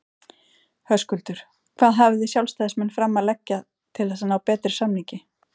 Höskuldur: Hvað hafið þið sjálfstæðismenn fram að leggja til þess að ná betri samningi?